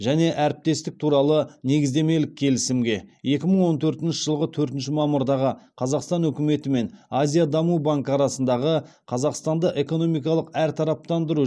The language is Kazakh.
және әріптестік туралы негіздемелік келісімге екі мың он төртінші жылғы төртінші мамырдағы қазақстан үкіметі мен азия даму банкі арасындағы қазақстанды экономикалық әртараптандыру